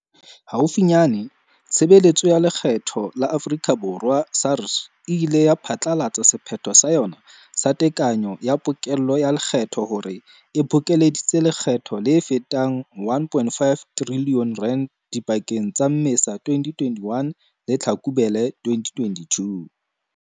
Haufinyane, Tshebe letso ya Lekgetho la Afrika Borwa, SARS, e ile ya phatlalatsa sephetho sa yona sa tekanyo ya pokello ya lekgetho hore e bokeleditse lekgetho le fetang R1.5 trilione dipakeng tsa Mmesa 2021 le Tlhakubele 2022.